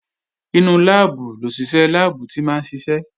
Inú láàbù lòṣìṣẹ́ láàbù tí máa ń ṣiṣẹ́